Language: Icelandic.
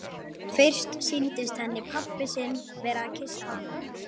Fyrst sýndist henni pabbi sinn vera að kyssa hana.